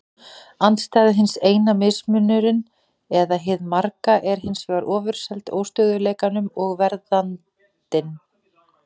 Andstæða hins eina, mismunurinn eða hið marga, er hins vegar ofurseld óstöðugleikanum og verðandinni.